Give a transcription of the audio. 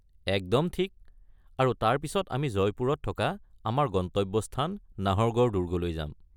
একদম ঠিক। আৰু তাৰ পিছত আমি জয়পুৰত থকা আমাৰ গন্তব্যস্থান নাহৰগড় দুৰ্গলৈ যাম।